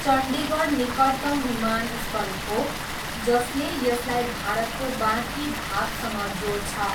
चण्डीगढ निकटतम विमानस्थल हो, जसले यसलाई भारतको बाँकी भागसँग जोड्छ।